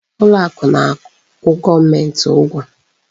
Ụlọ akụ na-akwụ gọọmenti ụgwọ.